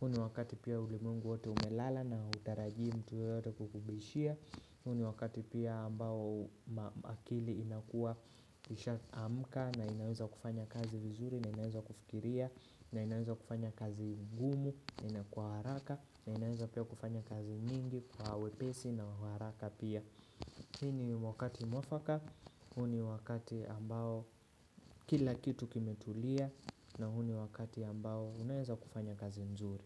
huu ni wakati pia ulimungu wote umelala na hutarajii mtu yoyote kukubishia, huu ni wakati pia ambao akili inakuwa isha amka na inaweza kufanya kazi vizuri, na inaweza kufikiria, na inaweza kufanya kazi ngumu, na inakuwa haraka na ninaweza pia kufanya kazi nyingi kwa wepesi nawa uharaka pia Hii ni wakati mwafaka huu ni wakati ambao kila kitu kimetulia na huu ni wakati ambao unaeza kufanya kazi nzuri.